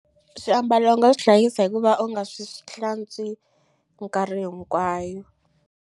Swiambalo u nga swi hlayisa hikuva u nga swi hlantswi minkarhi hinkwayo.